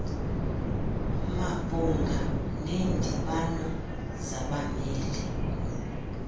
mabhunga neendibano zabameli